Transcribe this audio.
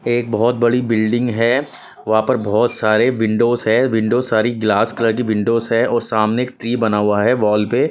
एक बहुत बड़ी बिल्डिंग है वहां पर बहुत सारे विंडोस है विंडोस सारी ग्लास कलर की विंडोस है और सामने एक ट्री बना हुआ है वॉल पे--